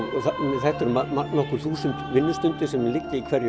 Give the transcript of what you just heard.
það eru nokkur þúsund vinnustundir sem liggja í hverju